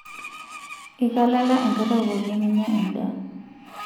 Iika lala enkata pookin ninya endaa .